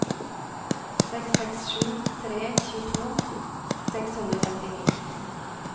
seks seks sju tre tjueto seks hundre og femtini